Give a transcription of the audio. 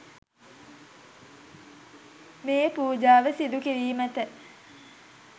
මේ පූජාව සිදු කිරීමට